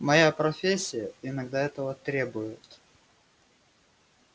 моя профессия иногда этого требует